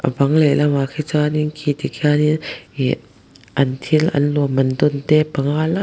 a bang lehlamah khi chuanin khi tikhian in ih an thil an lawmman dawnte panga lai--